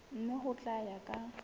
mme ho tla ya ka